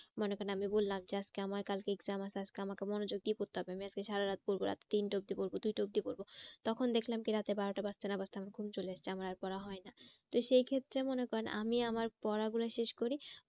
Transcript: মনে করেন আমি বললাম যে আজকে আমার কালকে exam আছে আজকে আমাকে মনোযোগ দিয়ে পড়তে হবে আমি আজকে সারারাত পড়বো রাত তিনটে অবধি পড়বো দুটো অবধি পড়বো। তখন দেখলাম কি রাতে বারোটা বাজতে না বাজতে আমার ঘুম চলে এসছে আমার আর পড়া হয় না। তো সেই ক্ষেত্রে মনে করেন আমি আমার পড়া গুলা শেষ করি